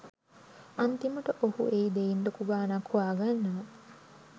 අන්තිමට ඔහු ඒ දෙයින් ලොකු ගානක් හොයාගන්නවා.